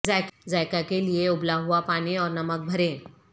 ذائقہ کے لئے ابلا ہوا پانی اور نمک بھریں